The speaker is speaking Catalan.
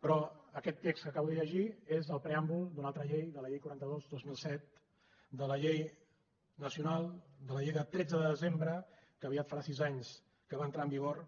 però aquest text que acabo de llegir és del preàmbul d’una altra llei de la llei quaranta dos dos mil set de la llei nacional de la llei de tretze de desembre que aviat farà sis anys que va entrar en vigor